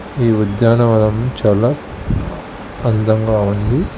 ఈ ఉద్యానవనం చాలా అందంగా ఉంది.